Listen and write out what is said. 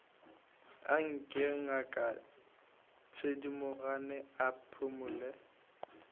anke ngaka thedimogane a phumole